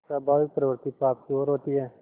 स्वाभाविक प्रवृत्ति पाप की ओर होती है